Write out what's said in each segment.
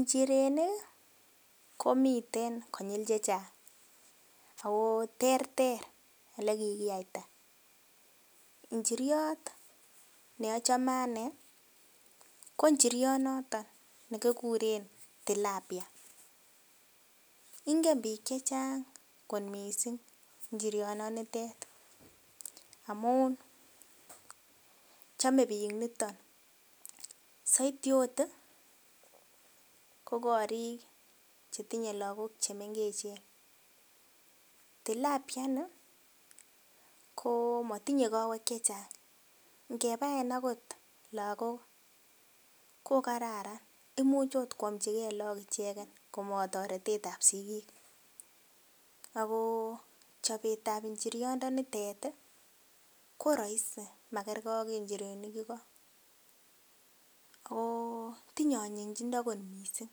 Nchirenik kii komiten konyil chechang ako terter ole kikiyaita , inchiriot neochome anee ko nchiriot noton nekikuren tilapia ngen bik chechang kot missing inchiriot non nitet amun chome bik niton. Soiti ot tii ko korik chetinye Lokok chemengechen, tilapia nii ko motinye kowek chechang ngebaen okot lokok kokararan imuch ot kwomchigee lok icheken komotoretetab sikik ako chobetab inchiriondenitet tii ko roisi makergee ak inchirenik iko koo tinye onyinyindo kot missing,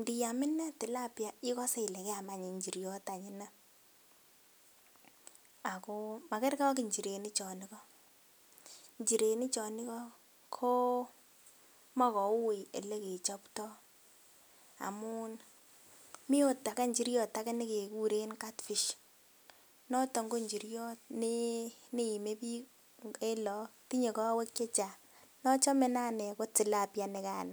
ndiam ine tilapia ikose Ile kiam anch inchiriot anch inee ako makerergee ak inchirenik chon iko. Inchirenik chon iko koo moi koui olekechopto amun mii ot age inchiriot age nekekuren catfish noton ko nchiriot ne nemie bik en lok tinye kowek chechang nochome ine anee ko tilapia nikano.